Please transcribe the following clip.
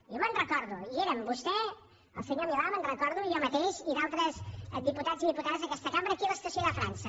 jo me’n recordo hi eren vostè el senyor milà me’n recordo jo mateix i altres diputats i diputades d’aquesta cambra aquí a l’estació de frança